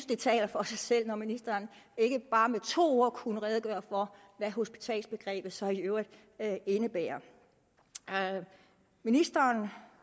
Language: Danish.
det taler for sig selv når ministeren ikke bare med to ord kunne redegøre for hvad hospitalsbegrebet så i øvrigt indebærer ministeren